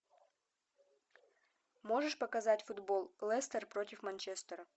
можешь показать футбол лестер против манчестера